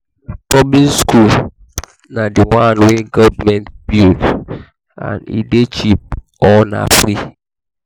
public high school na di one wey government build and e de cheap or na free